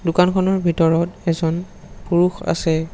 দোকানখনৰ ভিতৰত এজন পুৰুষ আছে।